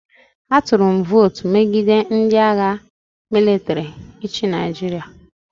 Atụrụ m votu megide ndị agha mịlịtrị ịchị Nigeria.